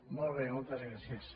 molt bé moltes gràcies